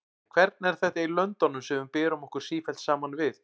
En hvernig er þetta í löndunum sem við berum okkur sífellt saman við?